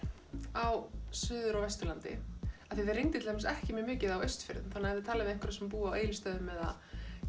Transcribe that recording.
á suður og vesturlandi af því það rigndi til dæmis ekki mjög mikið á Austfjörðum þannig ef þið talið við einhverja sem búa á Egilsstöðum eða